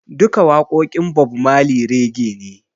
Duka waƙoƙin Bob Marley Rege ne